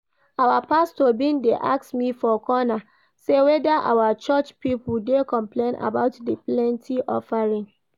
Our pastor bin dey ask me for corner say whether our church people dey complain about the plenty offering